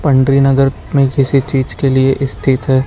पंडरी नगर में किसी चीज के लिए स्थित है।